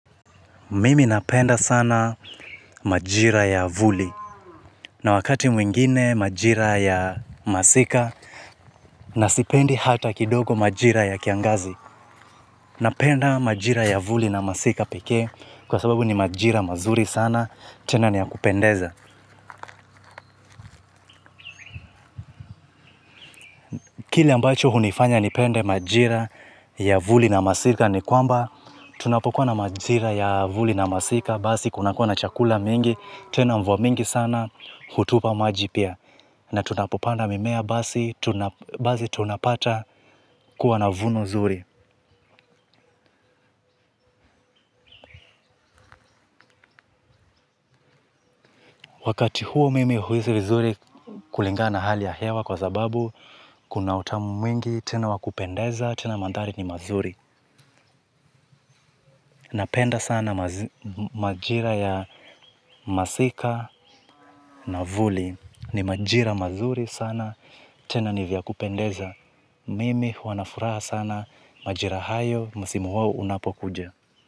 Mimi napenda sana majira ya vuli na wakati mwingine majira ya masika na sipendi hata kidogo majira ya kiangazi. Napenda majira ya vuli na masika pekee kwa sababu ni majira mazuri sana tena ni ya kupendeza. Kile ambacho hunifanya nipende majira ya vuli na masika ni kwamba tunapokuwa na majira ya vuli na masika basi kunakuwa na chakula mingi tena mvua mingi sana hutupa maji pia. Na tunapopanda mimea basi tunapata kuwa na vuno zuri. Wakati huo mimi huhisi vizuri kulingana na hali ya hewa kwa sababu kuna utamu mwingi tena wa kupendeza tena mandhari ni mazuri. Napenda sana majira ya masika na vuli ni majira mazuri sana tena ni vya kupendeza mimi huwa na furaha sana majira hayo msimu wao unapokuja.